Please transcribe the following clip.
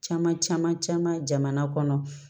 Caman caman caman